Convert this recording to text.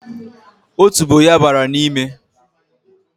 Otubo ya bara n'ime